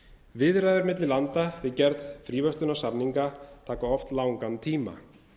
viðræður milli landa við gerð fríverslunarsamninga taka oft langan tíma